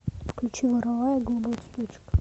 включи вороваек голубой цветочек